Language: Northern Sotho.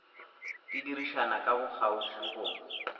di dirišana ka bokgauswi go